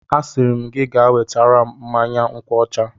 Asịrị m gị gaa wetara m mmanya nkwuọcha!